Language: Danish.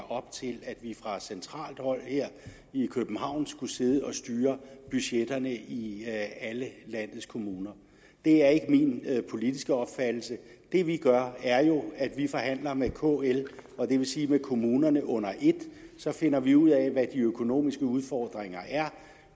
op til at vi fra centralt hold her i københavn skulle sidde og styre budgetterne i i alle landets kommuner det er ikke min politiske opfattelse det vi gør er jo at vi forhandler med kl og det vil sige med kommunerne under ét så finder vi ud af hvad de økonomiske udfordringer